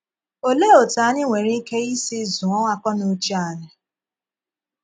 Olee otú anyị nwere ike isi zụọ akọnùché ànyị?